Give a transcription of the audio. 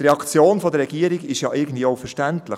Die Reaktion der Regierung ist irgendwie auch verständlich: